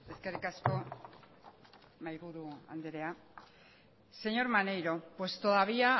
eskerrik asko mahaiburu andrea señor maneiro pues todavía